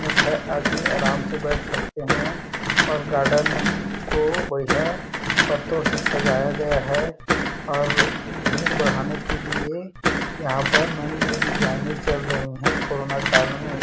में छाया आदमी आराम से बैठ सकते है और गार्डन को बढ़िया पत्तो से सजाया गया है और भीड़ बढ़ाने के लिए यहाँ पर नई-नई डिजाइने चल रही है कोरोना काल में--